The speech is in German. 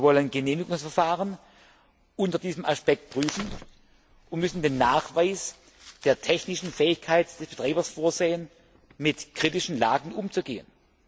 Wir wollen Genehmigungsverfahren unter diesem Aspekt prüfen und müssen den Nachweis der technischen Fähigkeit des Betreibers vorsehen, mit kritischen Lagen umzugehen.